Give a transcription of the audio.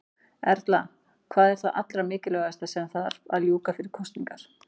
Erla: Hvað er það allra mikilvægasta sem að þarf að ljúka fyrir kosningar?